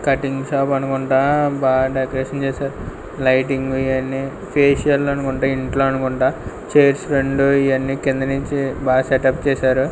Cutting shop అనుకుంటా బా decoration చేశారు లైటింగ్ ఇయన్నీ ఫేషియల్ అనుకుంటా ఇంట్లో అనుకుంటా చైర్స్ రెండు ఇయన్నీ కింది నుంచి బా సెట్అప్ చేశారు.